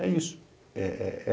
É isso.